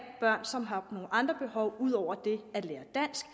børn som har nogle andre behov ud over det at lære dansk